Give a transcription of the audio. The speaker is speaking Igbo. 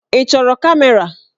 Ị chọrọ kamera?